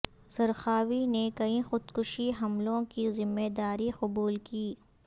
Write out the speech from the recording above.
Zarqawi نے کئی خودکش حملوں کی ذمہ داری قبول کی